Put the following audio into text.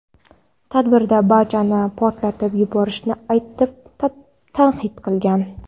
Tadbirda barchani portlatib yuborishini aytib tahdid qilgan.